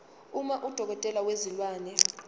uma udokotela wezilwane